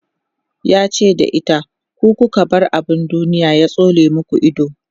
yace da ita "ku ku bar abun duniya ya tsole maku Ido!"